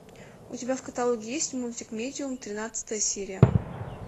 у тебя в каталоге есть мультик медиум тринадцатая серия